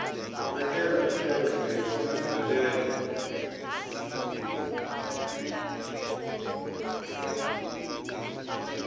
vekela etlhelo xileriso xa nsirhelelo